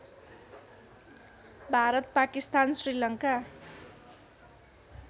Bharat Pakistan Sri Lanka